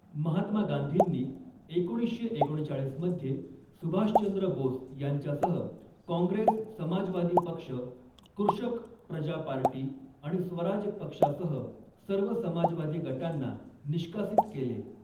महात्मा गांधींनी एकोणीसशे एकोणचाळीस मध्ये सुभाषचंद्र बोस यांच्यासह काँग्रेस समाजवादी पक्ष, कृषक प्रजा पार्टी आणि स्वराज पक्षासह सर्व समाजवादी गटांना निष्कासित केले.